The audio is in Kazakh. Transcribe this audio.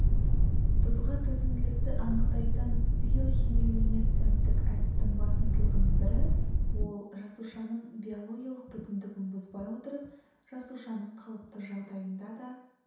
тұзға төзімділікті анықтайтын биохемилюминесценттік әдістің басымдығының бірі-ол жасушаның биологиялық бүтіндігін бұзбай отырып жасушаның қалыпты жағдайында да